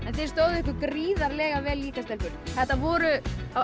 þið stóðuð ykkur gríðarlega vel líka stelpur það voru